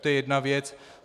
To je jedna věc.